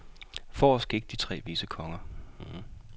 Forrest gik de tre vise konger.